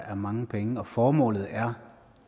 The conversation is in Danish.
er mange penge formålet er